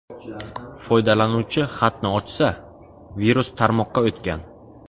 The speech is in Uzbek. Foydalanuvchi xatni ochsa, virus tarmoqqa o‘tgan.